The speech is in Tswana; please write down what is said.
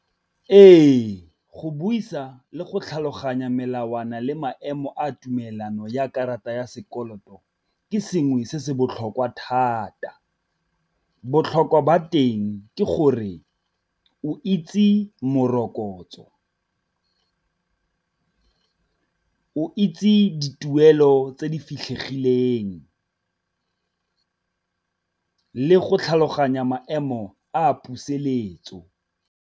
Ee, go buisa le go tlhaloganya melawana le maemo a tumelano ya karata ya sekoloto, ke sengwe se se botlhokwa thata. Botlhokwa ba teng ke gore o itse morokotso, o itse dituelo tse di fitlhegileng le go tlhaloganya maemo a puseletso.